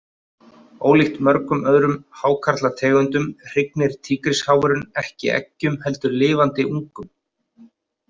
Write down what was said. Ólíkt mörgum öðrum hákarlategundum hrygnir tígrisháfurinn ekki eggjum heldur lifandi ungum.